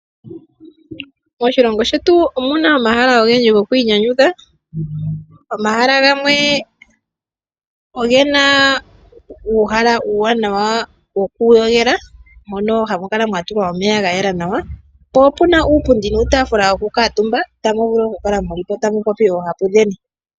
Moshilongo shetu omuna omahala ogendji gokwiinyanyudha. Omahala gamwe ogena uuhala uuwanawa wokuyogela, mono hamu kala mwatulwa omeya gayela nawa, po opuna uupundi nuutafula wokukaantumba, tamu vulu okukala mulipo tamu popi oohapu dheni.